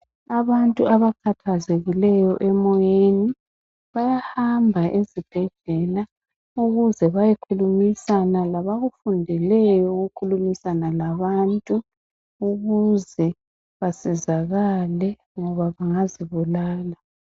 Abantu abakhathazekileyo emoyeni bayahamba ezibhedlela ukuze bayekhulumisana labakufundeleyo ukukhulumisana labantu ukuze basizakale ngoba bengazibulala.